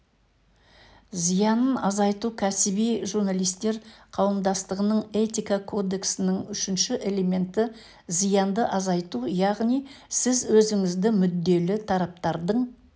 зиянын азайту кәсіби журналистер қауымдастығының этика кодексінің үшінші элементі зиянды азайту яғни сіз өзіңізді мүдделі тараптардың